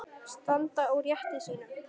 Standa á rétti sínum?